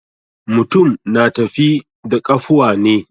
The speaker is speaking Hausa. Mutum na tafi da ƙafuwa ne.